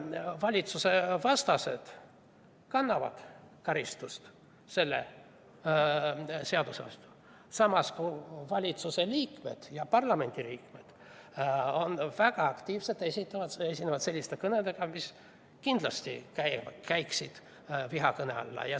Valitsusvastased kannavad karistust selle seaduse järgi, samas esinevad valitsuse ja parlamendi liikmed väga aktiivselt selliste kõnedega, mis kindlasti käiksid vihakõne alla.